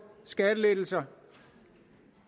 skattelettelser